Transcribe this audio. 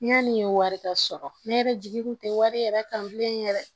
Yani wari ka sɔrɔ ne yɛrɛ jigi kun tɛ wari yɛrɛ kan bilen yɛrɛ